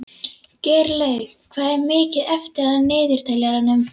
Geirlaug, hvað er mikið eftir af niðurteljaranum?